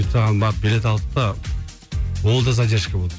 соған барып билет алдық та ол да задержка болды